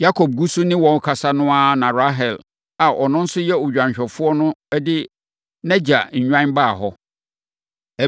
Yakob gu so ne wɔn rekasa no ara na Rahel a ɔno nso yɛ odwanhwɛfoɔ no de nʼagya nnwan baa hɔ.